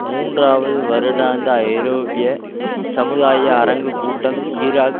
மூன்றாவது வருடாந்த ஐரோப்பிய சமுதாய அரங்கு கூட்டம் ஈராக்